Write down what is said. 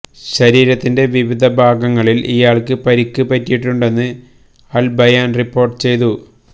ശരീരത്തിന്റെ വിവിധ ഭാഗങ്ങളില് ഇയാള്ക്ക് പരിക്ക് പറ്റിയിട്ടുണ്ടെന്ന് അല് ബയാന് റിപ്പോര്ട്ട് ചെയ്തു